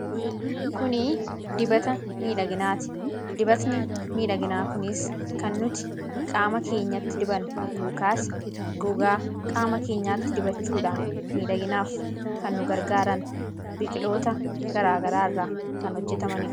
Kuni dibata miidhaginaati. Dibanni miidhaginaa kunis kan nuti qaama keenyatti dibannu yookaas gogaa qaama keenyaatti dibachuudhaan miidhaginaaf kan nugargaaran biqiltoota garaa garaa irraa kan hojjetamanidha.